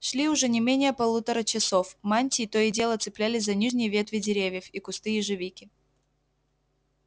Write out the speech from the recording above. шли уже не менее полутора часов мантии то и дело цеплялись за нижние ветви деревьев и кусты ежевики